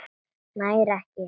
Nær ekki.